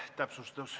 Täpsustus.